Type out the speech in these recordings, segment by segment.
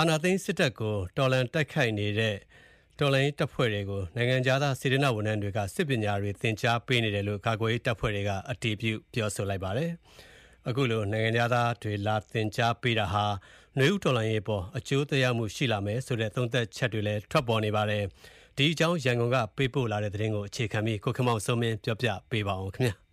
အာဏာသိမ်းစစ်တပ်ကို တော်လှန်တိုက်ခိုက်နေတဲ့အဖွဲ့တွေကို နိုင်ငံခြားသား စေတနာ့ဝန်ထမ်းတွေက စစ်ပညာတွေသင်ကြားပေးနေတယ်လို့ ကာကွယ်ရေး တပ်ဖွဲ့တွေက အတည်ပြုပြောပါတယ်။ အခုလို သင်ကြားပေးတာဟာ နွေဦးတော်လှန်ရေးအပေါ် အကျိုးသက်ရောက်မှု ရှိလာမယ်ဆိုတဲ့ သုံးသပ်ချက်တွေလည်း ရှိနေပါတယ်။ ဒီအကြောင်း ရန်ကုန်ကပေးပို့တဲ့သတင်ကို အခြေခံပြီး ကိုခင်မောင်စိုးမင်းက ပြောပြပါမယ်။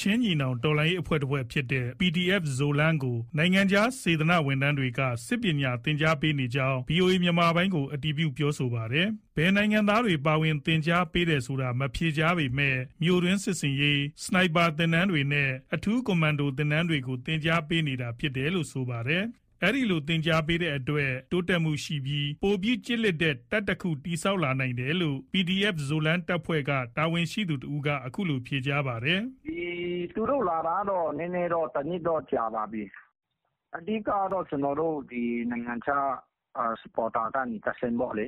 ချင်းညီနောင်တော်လှန်ရေးအဖွဲ့ အဖွဲ့တဖွဲ့ဖြစ်တဲ့ PDF Zoland ကို နိုင်ငံခြားက စေတနာ့ဝန်ထမ်းတွေက စစ်ပညာသင်ကြားပေးနေကြောင်း ဗွီအိုအေ မြန်မာပိုင်းကို အတည်ပြုပြောဆိုပါတယ်။ ဘယ်နိုင်ငံသားတွေ ပါဝင် သင်ကြားပေးနေတယ်ဆိုတာကို မဖြေကြားပေမယ့် မြို့တွင်းစစ်ဆင်ရေး၊ စနိုက်ပါသင်တန်းတွေနဲ့ အထူးကွန်မန်ဒိုသင်တန်းတွေကို သင်ကြားပေးနေတာ ဖြစ်တယ်လို့ ဆိုပါတယ်။ အခုလို သင်ကြားပေးတဲ့အတွက် တိုးတက်မှုရှိပြီး ပိုပြီးကျစ်လစ်တဲ့ တပ်တခု တည်ဆောက်လာနိုင်တယ်လို့ PDF Zoland တပ်ဖွဲ့က တာဝန်ရှိသူတဦးက အခုလို ဖြေကြားပါတယ်။ "သူတို့လာတာက နည်းနည်းတော့ ၁ နှစ်တော့ ကြာပါပြီ။ အဓိက နိုင်ငံခြား ထောက်ခံသူတွေကနေတဆင့်ပေါ့လေ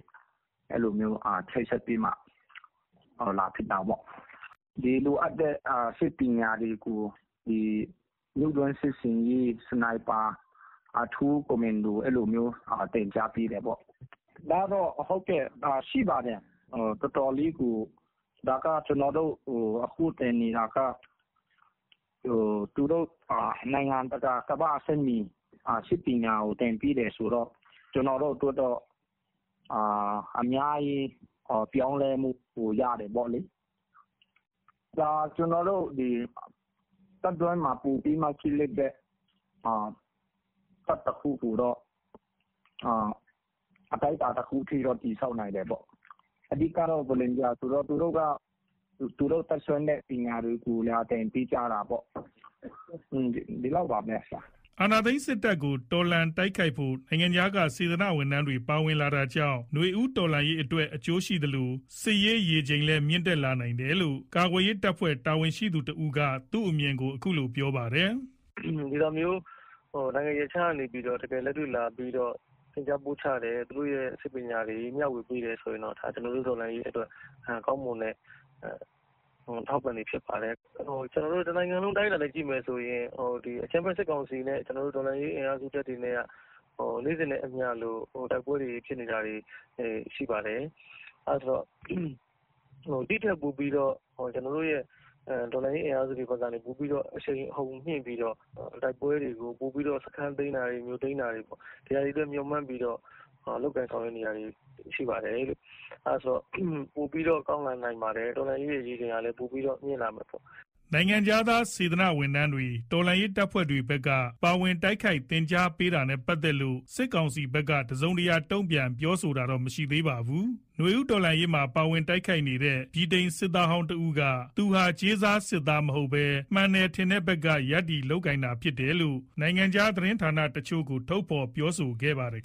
အဲ့လိုချိတ်ဆက်ပြီးမှ လာဖြစ်တာပေါ့။ လိုအပ်တဲ့ စစ်ပညာတွေကို မြို့တွင်း စစ်ဆင်ရေး စနိုက်ပါ အထူးကွန်မန်ဒို အဲ့လိုမျိုး သင်ကြားပေးတယ်ပေါ့။ သူတို့က နိုင်ငံတကာ ကမ္ဘာ့ အဆင့်မှီ စစ်ပညာကို သင်ပေးတယ်ဆိုတော့ ကျွန်တော်တို့အတွက် အများကြီး ပြောင်းလဲမှု ပိုရတယ်ပေါ့လေ။ တပ်တွင်းမှာ ပိုပြီး ကျစ်လစ်တဲ့ တပ်တခုကိုတော့ အတိုင်းတာတခုအထိ တည်ဆောက်နိုင်တယ်ပေါ့။ အဓိက စေတနာ့ဝန်ထမ်းဆိုတော့ သူတို့ တတ်စွမ်းတဲ့ အရာတွေကို သင်ပေးကြတာပေါ့။ ဒီလောက်ပါပဲ။" အာဏာသိမ်းစစ်တပ်ကို တော်လှန်တိုက်ခိုက်ဖို့ နိုင်ငံခြားက စေတနာ့ဝန်ထမ်းတွေ ပါဝင်လာတာကြောင့် နွေဦးတော်လှန်ရေးအတွက် အကျိုးရှိသလို စစ်ရေးရေချိန်လည်း မြင့်တက်လာနိုင်တယ်လို့ ကာကွယ်ရေး တပ်ဖွဲ့ တာဝန်ရှိသူတဦးက သူ့အမြင်ကို အခုလို ပြောပါတယ်။ "နိုင်ငံရပ်ခြားကနေ ဒီလိုမျိုးလာပြီးတော့ လက်တွေ့ သင်ကြားပို့ချတယ်။ သူတို့ စစ်ပညာတွေ မျှဝေတယ်ဆိုရင် ကျွန်တော်တို့ တော်လှန်ရေးအတွက် ကောင်းမွန်တဲ့ အထောက်အပံ့တွေဖြစ်ပါတယ်။ တနိုင်ငံလုံးအတိုင်းအတာအနေနဲ့ ကြည့်မယ်ဆိုရင် ကျွန်တော်တို့ အကြမ်းဖက် စစ်ကောင်စီနဲ့ တော်လှန်ရေးတပ်ဖွဲ့တွေ နေ့စဉ်နဲ့အမျှ တိုက်ပွဲတွေဖြစ်နေတာ ရှိပါတယ်။ ဒီထက်ပိုပြီး တော်လှန်ရေး အင်အားစုတွေဘက်က အရှိန်အဟုန်မြှင့်ပြီးတော့ တိုက်ပွဲတွေကို ပိုပြီးတော့ စခန်းသိမ်းတာတွေ မြို့သိမ်းတာတွေ ဒီဟာတွေကို မျှော်မှန်းပြီး လုပ်ကိုင်ဆောင်ရွက်နေတာတွေရှိပါတယ်။ အဲ့တော့ ပိုပြီးတော့ ကောင်းလာနိုင်ပါတယ်။ တော်လှန်ရေးရဲ့ ရေချိန်ကလည်း မြင့်လာတာပေါ့။" နိုင်ငံခြားသား စေတနာ့ဝန်ထမ်းတွေ တော်လှန်ရေးတပ်ဖွဲ့တွေဘက်က ပါဝင်တိုက်ခိုက် သင်ကြားပေးတာနဲ့ ပတ်သက်လို့ စစ်ကောင်စီဘက်က တစုံတရာတုန့်ပြန် ပြောဆိုထားတာတော့ မရှိသေးပါဘူး။ နွေဦးတော်လှန်ရေးမှာ ပါဝင်တိုက်ခိုက်နေတဲ့ ဗြိတိန်စစ်သားဟောင်း တဦးက သူဟာ ကြေးစား စစ်သားမဟုတ်ဘဲ မှန်တယ်ထင်တဲ့ဘက်ကနေ ရပ်တည် လုပ်ကိုင်နေတာသာဖြစ်တယ်လို့ နိုင်ငံခြား သတင်းဌာနတချို့ကို ထုတ်ဖော် ပြောဆိုထားပါတယ်